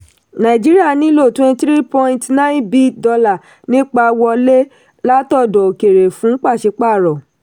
nàìjíríà nílò twenty three point nine b dollar nípa wọlé látọ̀dọ̀ òkèèrè fún pàṣípààrọ̀.